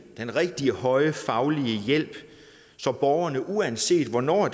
den rigtige høje faglige hjælp så borgerne uanset hvornår